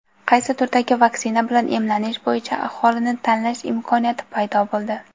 Qaysi turdagi vaksina bilan emlanish bo‘yicha aholida tanlash imkoniyati paydo bo‘ldi.